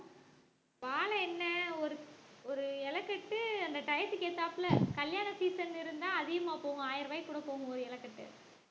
வாழை என்ன ஒரு ஒரு இலைக்கட்டு அந்த டயத்துக்கு ஏத்தாப்புல கல்யாண season இருந்தா அதிகமா போகும் ஆயிர ரூபாய்க்கு கூட போகும் ஒரு இலை கட்டு